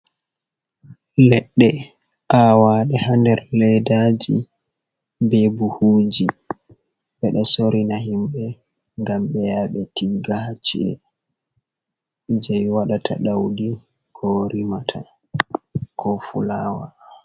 Leɗɗe awaɗe ha nder leddaji be buhuji, ɓe ɗo sorina himɓe gam ɓeya ɓe tiggata ha ci’e, je waɗata daudi, ko rimata, ko fulawa.